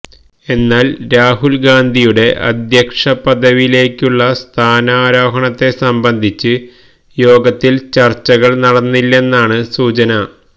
എന്നാല് രാഹുല് ഗാന്ധിയുടെ അദ്ധ്യക്ഷ പദവിയിലേക്കുള്ള സ്ഥാനാരോഹണത്തെ സംബന്ധിച്ച് യോഗത്തില് ചര്ച്ചകള് നടന്നില്ലെന്നാണ് സൂചന